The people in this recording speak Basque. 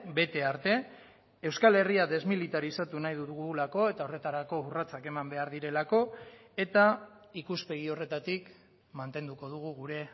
bete arte euskal herria desmilitarizatu nahi dugulako eta horretarako urratsak eman behar direlako eta ikuspegi horretatik mantenduko dugu gure